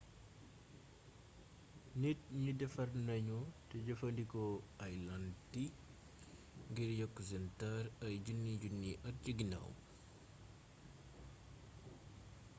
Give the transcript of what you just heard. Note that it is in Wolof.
nit ñi defar nañu te jëfandikoo ay làntiy ngir yokk seen taar ay junniy-junniy at ci ginaaw